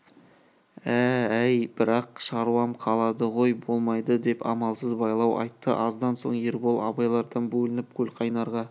ә-әй бірақ шаруам қалады ғой болмайды деп амалсыз байлау айтты аздан соң ербол абайлардан бөлініп көлқайнарға